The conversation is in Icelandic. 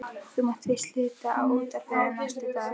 Þú mátt víst hluta á útvarpið næstu daga.